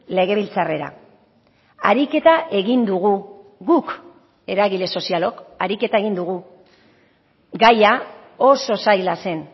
legebiltzarrera ariketa egin dugu guk eragile sozialok ariketa egin dugu gaia oso zaila zen